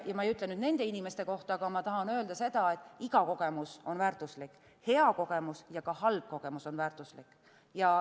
Ma ei ütle nüüd nende inimeste kohta, aga ma tahan öelda seda, et iga kogemus on väärtuslik – hea kogemus ja ka halb kogemus on väärtuslik.